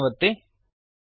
save ಅನ್ನು ಒತ್ತಿ